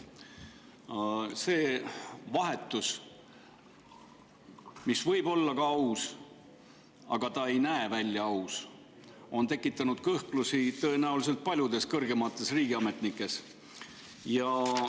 See vahetus, mis võib olla aus, aga ei näe välja aus, on tekitanud kõhklusi tõenäoliselt paljudes kõrgemates riigiametnikes.